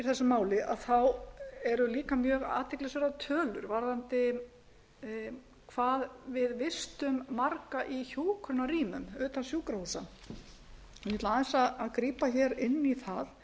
þessu máli eru líka mjög athyglisverðar tölur varðandi hvað við vistum marga í hjúkrunarrýmum utan sjúkrahúsa ég ætla aðeins að grípa inn í það